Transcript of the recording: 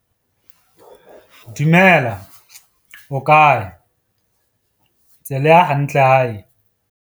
Dumela, O kae? Tse le ya hantle hae?